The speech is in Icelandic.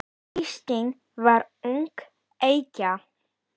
Kristín varð ung ekkja.